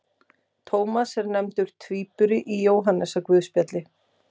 Tómas er nefndur tvíburi í Jóhannesarguðspjalli.